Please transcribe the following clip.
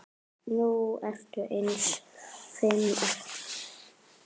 Nú eru aðeins fimm eftir.